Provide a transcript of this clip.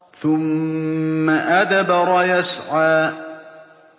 ثُمَّ أَدْبَرَ يَسْعَىٰ